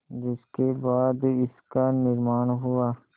जिसके बाद इसका निर्माण हुआ